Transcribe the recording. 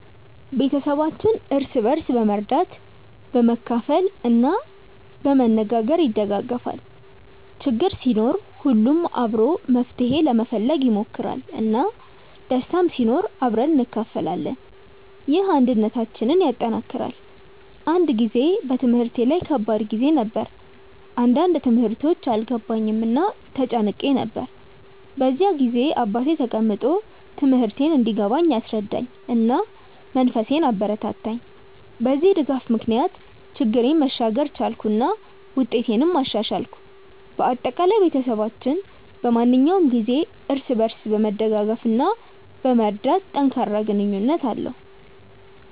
ቤተሰባችን እርስ በርስ በመርዳት፣ በመካፈል እና በመነጋገር ይደጋገፋል። ችግር ሲኖር ሁሉም አብሮ መፍትሄ ለመፈለግ ይሞክራል፣ እና ደስታም ሲኖር አብረን እንካፈላለን። ይህ አንድነታችንን ያጠናክራል። አንድ ጊዜ በትምህርቴ ላይ ከባድ ጊዜ ነበር፣ አንዳንድ ትምህርቶች አልገባኝም እና ተጨንቄ ነበር። በዚያ ጊዜ አባቴ ተቀምጦ ትምህርቴን እንዲገባኝ አስረዳኝ፣ እና መንፈሴን አበረታታኝ። በዚህ ድጋፍ ምክንያት ችግሬን መሻገር ቻልኩ እና ውጤቴንም አሻሻልኩ። በአጠቃላይ፣ ቤተሰባችን በማንኛውም ጊዜ እርስ በርስ በመደገፍ እና በመርዳት ጠንካራ ግንኙነት አለው።